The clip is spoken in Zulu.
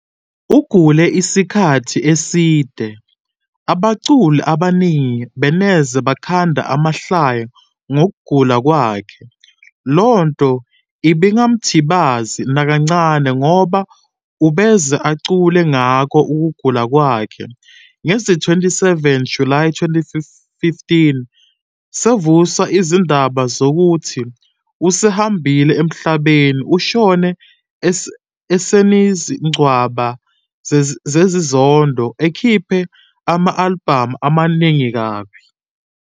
Ugule iskathi eside abaculi abaningi beneze bakhande amahlaya ngogula kwakhe, lonto ibingamthibazi nakancane ngoba ubeze acule ngako ukugula kwakhe. Ngezi 27 july 2015 sevuswa izindaba zokuthi usehambile emhlabeni.ushone esenizinqwaba zezindodo, ekhiphe ama album amaningi kabi.